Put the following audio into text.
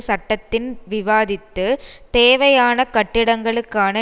சட்டத்தின் விவாதித்து தேவையான கட்டிடங்களுக்கான